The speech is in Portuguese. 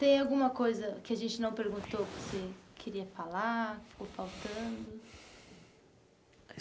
Tem alguma coisa que a gente não perguntou, que você queria falar, que ficou faltando?